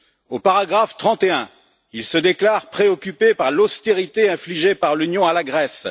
Au paragraphe 31, il se déclare préoccupé par l'austérité infligée par l'Union à la Grèce.